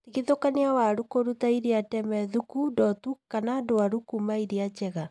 Tigithũkania waru kũruta iria ndeme, thũku, ndotu kana ndwaru kuma iria njega